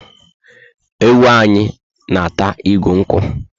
Ewu a anyị na ata igu nkwu